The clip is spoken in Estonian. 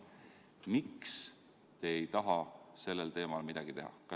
Miks te ei taha sellel teemal midagi teha?